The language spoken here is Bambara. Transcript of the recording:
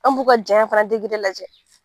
An b'u ka jayan fana degere lajɛ